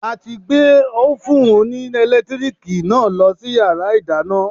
A ti gbé Ófùn oní ẹ̀lẹ́tíríìkì náà lọ sí yàrá ìdáná.